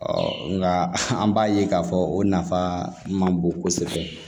nka an b'a ye k'a fɔ o nafa man bon kosɛbɛ